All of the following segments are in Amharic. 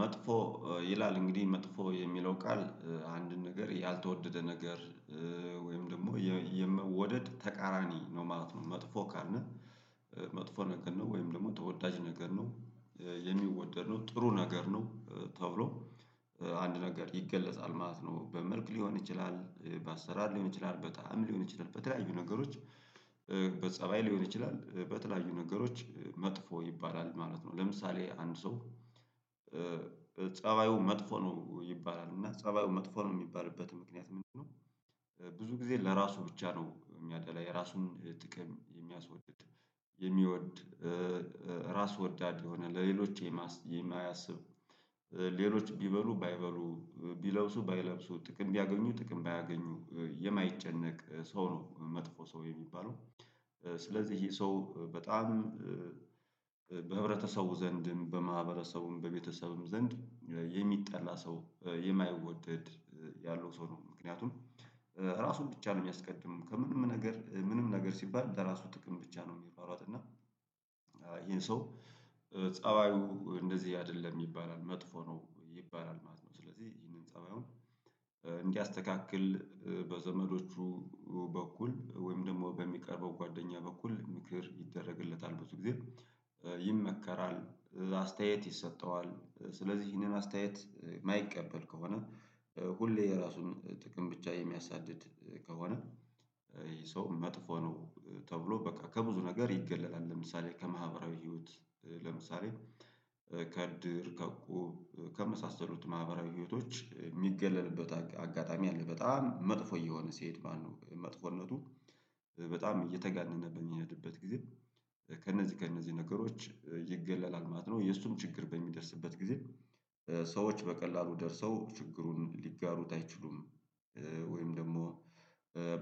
መጥፎ ይላል እንግዲህ መጥፎ የሚለው ቃል አንድ ነገር ያልተወደደ ነገር ወይም ደግሞ የመወደድ ተቃራኒ ነው ማለት ነው። መጥፎ ካልነህ። መጥፎ ነገር ነው ወይም ደግሞ ተወዳጅ ነገር ነው። የሚወደድ ነው ጥሩ ነገር ነው ተብሎ አንድ ነገር ይገለጻል ማለት ነው። በመልክ ሊሆን ይችላል በአሰራር ሊሆን ይችላል በጣዕም ሊሆን ይችላል በተለያዩ ነገሮች። በጸባይ ሊሆን ይችላል በተለያዩ ነገሮች መጥፎ ይባላል ማለት ነው። ለምሳሌ አንድ ሰው ፀባዩ መጥፎ ነው ይባላል እና ፀባዩ መጥፎ ነው የሚባልበት ምክንያት ምንድነው? ብዙ ጊዜ ለራሱ ብቻ ነው የሚያደላ የራሱን ጥቅም የሚያስወድድ። የሚወድ ራስ ወዳድ የሆነ ለሌሎች የማያስብ። ሌሎች ቢበሉ ባይበሉ ቢለብሱ ባይለብሱ ጥቅም ቢያገኙ ጥቅም ባያገኙ የማይጨነቅ ሰው ነው መጥፎ ሰው የሚባለው። ስለዚህ ይሄ ሰው በጣም በህብረተሰቡ ዘንድ በማህበረሰቡም በቤተሰብም ዘንድ የሚጠላ ሰው የማይወደድ ያለው ሰው ነው። ምክንያቱም ራሱን ብቻ ነው የሚያስቀድመው ከምንም ነገር ምንም ነገር ሲባል ለራሱ ጥቅም ብቻ ነው የሚሯሯጥ እና። ይሄን ሰው ፀባዩ እንደዚህ አይደለም ይባላል መጥፎ ነው ይባላል ማለት ነው። ስለዚህ ይህንን ፀባዩን እንዲያስተካክል በዘመዶቹ በኩል ወይም ደግሞ በሚቀርበው ጓደኛ በኩል ምክር ይደረግለታል። ብዙ ጊዜ ይመከራል አስተያየት ይሰጠዋል። ስለዚህ ይህንን አስተያየት የማይቀበል ከሆነ ሁሌ የራሱን ጥቅም ብቻ የሚያሳድድ ከሆነ ይህ ሰው መጥፎ ነው። ተብሎ በቃ ከብዙ ነገር ይገለላል ለምሳሌ ከማህበራዊ ህይወት። ለምሳሌ ከእድር ከእቁብ ከመሳሰሉት ማህበራዊ ህይወቶች የሚገለልበት አጋጣሚ አለ በጣም መጥፎ እየሆነ ሲሄድ ማለት ነው። መጥፎነቱ በጣም እየተጋነነበት የሚሄድበት ጊዜ ከእነዚህ ከእነዚህ ነገሮች ይገለላል ማለት ነው። የእሱም ችግር በሚደርስበት ጊዜ ሰዎች በቀላሉ ደርሰው ችግሩን ሊጋሩት አይችሉም። ወይም ደግሞ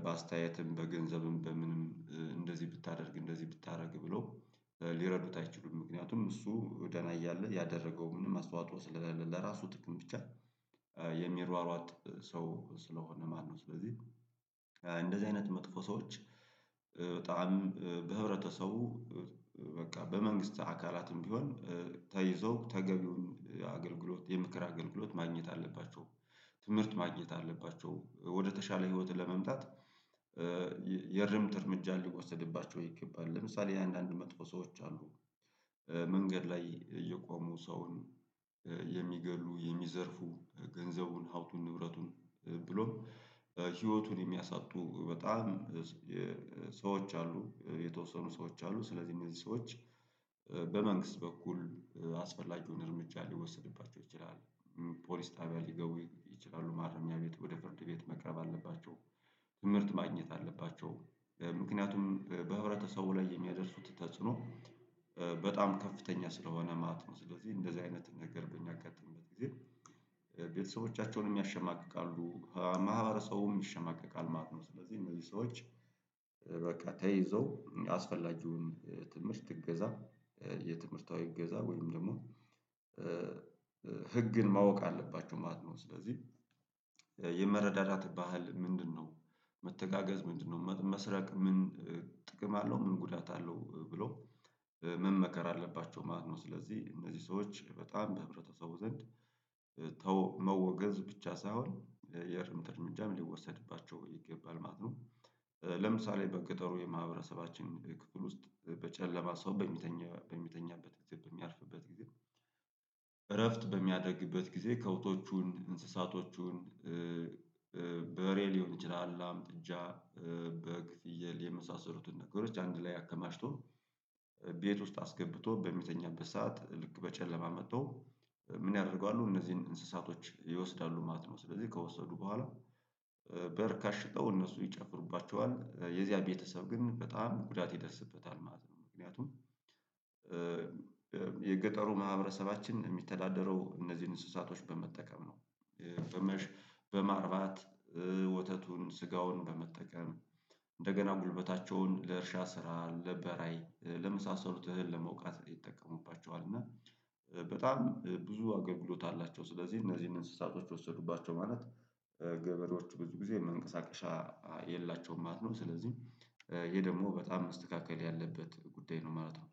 በአስተያየትም በገንዘብም በምንም እንደዚህ ብታደርግ እንደዚህ ብታደርግ ብሎ ሊረዱት አይችሉም። ምክንያቱም እሱ ደህና እያለ ያደረገው ምንም አስተዋጽኦ ስለራሱ ጥቅም ብቻ የሚሯሯጥ ሰው ስለሆነ ማለት ነው። ስለዚህ እንደዚህ አይነት መጥፎ ሰዎች በጣም በህብረተሰቡ በቃ በመንግስት አካላትም ቢሆን ተይዘው ተገቢውን አገልግሎት የምክር አገልግሎት ማግኘት አለባቸው። ትምህርት ማግኘት አለባቸው ወደተሻለ ህይወት ለመምጣት የእርምት እርምጃ ሊወሰድባቸው ይገባል። ለምሳሌ አንዳንድ መጥፎ ሰዎች አሉ። መንገድ ላይ እየቆሙ ሰውን የሚገድሉ የሚዘርፉ ገንዘቡን ሀብቱን ንብረቱን ብሎም ህይወቱን የሚያሳጡ በጣም ሰዎች አሉ የተወሰኑ ሰዎች አሉ ስለዚህ እነዚህ ሰዎች በመንግስት በኩል አስፈላጊውን እርምጃ ሊወሰድባቸው ይችላል። ፖሊስ ጣቢያ ሊገቡ ይችላሉ ማረሚያ ቤት ወደ ፍርድ ቤት መቅረብ አለባቸው ትምህርት ማግኘት አለባቸው። ምክንያቱም በህብረተሰቡ ላይ የሚያደርሱት ተጽዕኖ በጣም ከፍተኛ ስለሆነ ማለት ነው። ስለዚህ እንደዚህ አይነት ነገር በእኛ አጋጥመው ግን ቤተሰቦቻቸውን ያሸማቅቃሉ ማህበረሰቡም ይሸማቀቃል ማለት ነው። ስለዚህ እነዚህ ሰዎች በቃ ተይዘው ያስፈላጊውን ትምህርት እገዛ የትምህርታዊ እገዛ ወይም ደግሞ ህግን ማወቅ አለባችሁ ማለት ነው ስለዚህ የመረዳዳት ባህል ምንድነው? መተጋገዝ ምንድነው? መስረቅ ምን ጥቅም አለው? ምን ጉዳት አለው? ብሎ መመከራ አለባቸው ማለት ነው። ስለዚህ እነዚህ ሰዎች በጣም በህብረተሰቡ ዘንድ መወገዝ ብቻ ሳይሆን የእርምት እርምጃም ሊወሰድባቸው ይገባል ማለት ነው። ለምሳሌ በገጠሩ የማህበረሰባችን ክፍል ውስጥ በጨለማ ሰው በሚተኛ በሚተኛበት ጊዜ በሚያርፍበት ጊዜ እረፍት በሚያደግበት ጊዜ ከብቶቹን እንስሳቶቹን በሬ ሊሆን ይችላል። ላም ጥጃ በግ ፍየል የመሳሰሉትን ነገሮች አንድ ላይ አከማችቶ ቤት ውስጥ አስገብቶ በሚተኛበት ሰዓት ልክ በጨለማ መጥቶ ምን ያደርገዋሉ እነዚህን እንስሳቶች ይወስዳሉ ማለት ነው። ስለዚህ ከወሰዱ በኋላ በርካሽ ሸጠው እነሱ ይጨፍሩባቸዋል የዚያ ቤተሰብ ግን በጣም ጉዳት ይደርስበታል ማለት ነው። ምክንያቱም የገጠሩ ማህበረሰባችን የሚተዳደረው እነዚህን እንስሳቶች በመጠቀም ነው። በመሸ በማርባት ወተቱን ስጋውን በመጠቀም እንደገና ጉልበታቸውን ለእርሻ ስራ ለበራይ ለመሳሰሉት እህል ለመውቃት ይጠቀሙባቸዋል እና በጣም ብዙ አገልግሎት አላቸው። ስለዚህ እነዚህን እንስሳቶች ወሰዱባቸው ማለት ገበሬዎቹ ብዙ ጊዜ መንቀሳቀሻ የላቸውም ማለት ነው። ስለዚህ ይሄ ደግሞ በጣም መስተካክል ያለበት ጉዳይ ነው ማለት ነው።